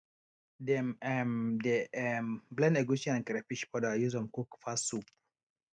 dem um dey um blend egusi and crayfish powder use am cook fast soup